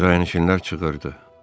Kirayənişinlər çığırdı: